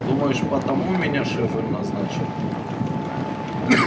думаешь потому меня шеф и назначил